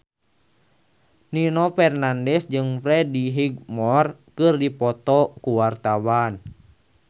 Nino Fernandez jeung Freddie Highmore keur dipoto ku wartawan